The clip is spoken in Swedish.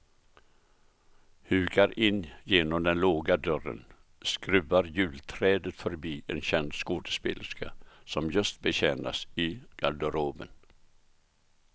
Hukar in genom den låga dörren, skruvar julträdet förbi en känd skådespelerska som just betjänas i garderoben.